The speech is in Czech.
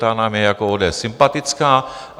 Ta nám je jako ODS sympatická.